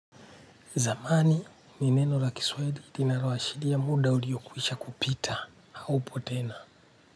Zamani ni neno la kiswahili linaloashiria muda uliyokwisha kupita haupo tena.